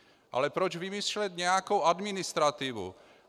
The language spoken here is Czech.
Ale proč vymýšlet nějakou administrativu?